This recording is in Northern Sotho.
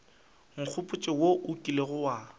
nkgopotša wo o kilego wa